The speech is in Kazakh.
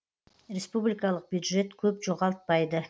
республикалық бюджет көп жоғалтпайды